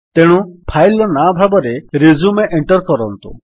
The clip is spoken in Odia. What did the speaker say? ତେଣୁ ଫାଇଲ୍ ର ନାଁ ଭାବରେ ରିଜ୍ୟୁମ ଏଣ୍ଟର୍ କରନ୍ତୁ